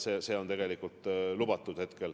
See on tegelikult praegu lubatud.